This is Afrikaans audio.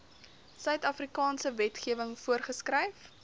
suidafrikaanse wetgewing voorgeskryf